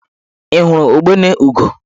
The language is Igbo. Ị hụrụ ugbene ugo?